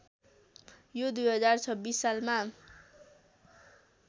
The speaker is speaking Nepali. यो २०२६ सालमा